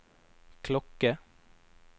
klokke